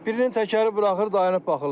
Birinin təkəri buraxır, dayanıb baxırlar.